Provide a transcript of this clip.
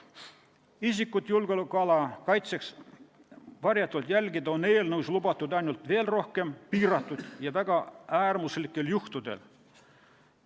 Isiku julgeolekuala kaitseks varjatult jälgimine on veel rohkem piiratud ja lubatud väga äärmuslikel juhtudel.